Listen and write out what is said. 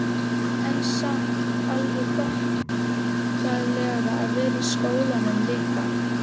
En samt alveg þokkalegt að vera í skólanum líka?